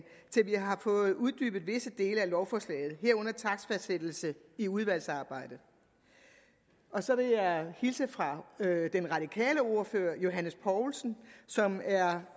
til vi har fået uddybet visse dele af lovforslaget herunder takstfastsættelse i udvalgsarbejdet og så vil jeg hilse fra den radikale ordfører herre johs poulsen som er